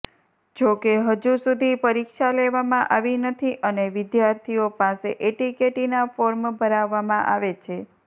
જોકે હજુ સુધી પરીક્ષા લેવામાં આવી નથી અને વિદ્યાર્થીઓ પાસે એટીકેટીના ફોર્મ ભરાવવામાં આવે છે